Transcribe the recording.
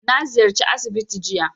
Na ziyarci asibiti jiya